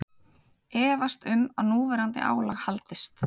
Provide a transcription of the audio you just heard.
Efast um að núverandi álag haldist